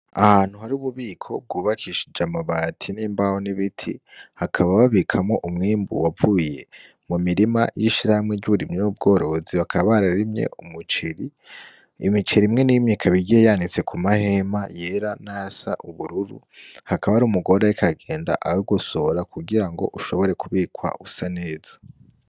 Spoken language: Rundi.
Ahantu har'ububiko bwubakishije amabati , n'imbaho, n'ibiti bakaba babikamwo umwimbu wavuye mu mirima y'ishirahamwe ry'uburimyi n'ubworozi bakaba bararimye umuceri , imiceri imwe n'imwe ikaba igereranitse ku mahema yera n'ayasa n'ubururu hakaba har'umugore arik'aragenda awugosora kugira ngo ushobore kubikwa usa neza.